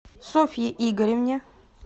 софье игоревне